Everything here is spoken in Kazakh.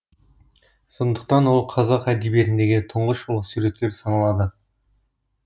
сондықтан ол қазақ әдебиетіндегі тұңғыш ұлы суреткер саналады